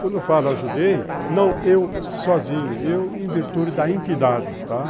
Quando eu falo ajudei, não eu sozinho, eu em virtude da entidade, tá?